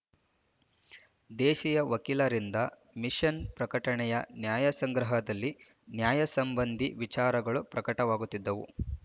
ದೇಶೀಯ ವಕೀಲರಿಂದ ಮಿಶನ್ ಪ್ರಕಟಣೆಯ ನ್ಯಾಯಸಂಗ್ರಹದಲ್ಲಿ ನ್ಯಾಯಸಂಬಂಧೀ ವಿಚಾರಗಳು ಪ್ರಕಟವಾಗುತ್ತಿದ್ದವು